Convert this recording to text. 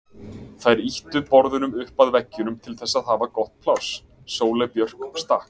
Þær ýttu borðunum upp að veggjunum til að hafa gott pláss, Sóley Björk stakk